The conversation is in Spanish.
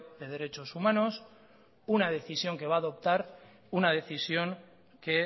de derechos humanos una decisión que va adoptar una decisión que